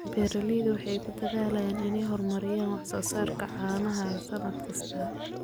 Beeraleydu waxay ku dadaalaan inay horumariyaan wax soo saarka caanaha sannad kasta.